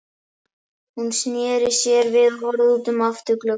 Hún sneri sér við og horfði út um afturgluggann.